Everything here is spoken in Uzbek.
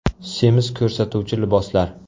Semiz ko‘rsatuvchi liboslar.